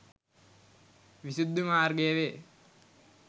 විසුද්ධි මාර්ගය වේ.